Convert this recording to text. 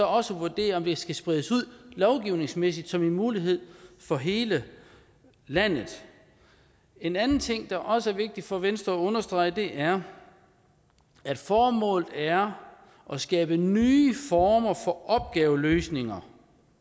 også at vurdere om det skal spredes ud lovgivningsmæssigt som en mulighed for hele landet en anden ting der også er vigtig for venstre at understrege er at formålet er at skabe nye former for opgaveløsninger